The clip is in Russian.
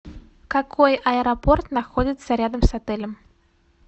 какой аэропорт находится рядом с отелем